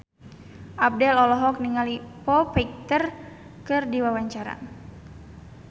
Abdel olohok ningali Foo Fighter keur diwawancara